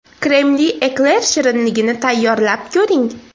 Kremli ekler shirinligini tayyorlab ko‘ring.